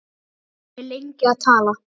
Hann er lengi að tala.